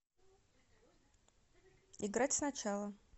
играть сначала